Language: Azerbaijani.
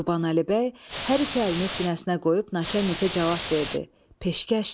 Qurbanəli bəy hər iki əlini sinəsinə qoyub naçalnikə cavab verdi: Peşkəşdir.